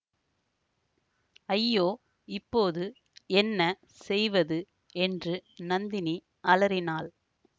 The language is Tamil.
ஐயோ இப்போது என்ன செய்வது என்று நந்தினி அலறினாள்